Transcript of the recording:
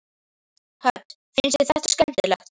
Hödd: Finnst þér þetta skemmtilegt?